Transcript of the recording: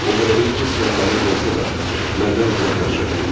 O hələlik cismən mənimlə olsa da, məndən uzaqlaşır, tamam.